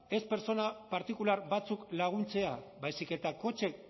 ez pertsona partikular batzuk laguntzea baizik eta kotxe